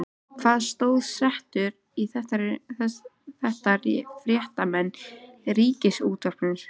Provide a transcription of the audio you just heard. Hvaða stöðu setur þetta fréttamenn Ríkisútvarpsins í?